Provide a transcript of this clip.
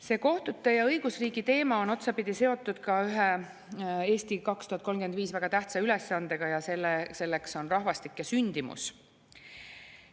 See kohtute ja õigusriigi teema on otsapidi seotud ka ühe "Eesti 2035" väga tähtsa ülesandega, selleks on rahvastik ja sündimus.